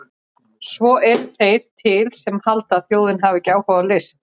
Svo eru þeir til sem halda að þjóðin hafi ekki áhuga á list!